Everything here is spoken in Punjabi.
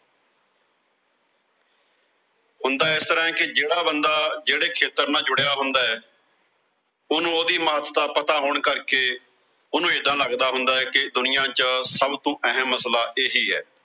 ਹੁੰਦਾ ਇਸ ਤਰ੍ਹਾਂ ਕਿ ਜਿਹੜਾ ਬੰਦਾ ਜਿਹੜੇ ਖੇਤਰ ਨਾਲ ਜੁੜਿਆ ਹੁੰਦੈ। ਉਹਨੂੰ ਉਹਦੀ ਪਤਾ ਹੋਣ ਕਰਕੇ, ਉਹਨੂੰ ਏਦਾਂ ਲਗਦਾ ਹੁੰਦਾ ਕਿ ਦੁਨੀਆਂ ਚ ਸਭ ਤੋਂ ਅਹਿਮ ਮਸਲਾ ਇਹੀ ਆ।